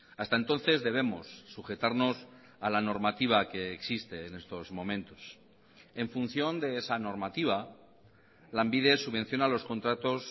hasta entonces debemos sujetarnos a la normativa que existe en estos momentos en función de esa normativa lanbide subvenciona los contratos